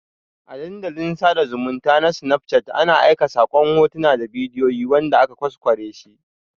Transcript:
A Dandalin sada zumunta na snapchat ana aika sakon hotuna da bidiyoyi wanda aka ƘwasƘware shi